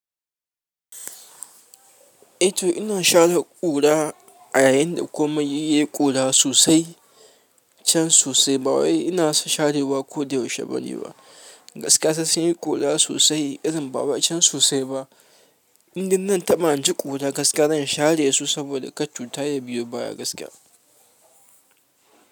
Eh to ina share ƙura a yayin da komai yayi ƙura sosai can sosai. Bawai ina sharewa ko da yaushe bane ba. Gaskiya sai sunyi ƙura sosai irin ba wai can sosai ba. Indan zanta bani ji ƙura gaskiya zan share su saboda kar cuta ya biyo baya gaskiya.